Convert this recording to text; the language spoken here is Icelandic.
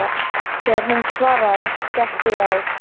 Þegar hún svaraði, skellti ég á.